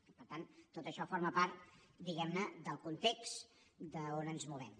i per tant tot això forma part diguem ne del context on ens movem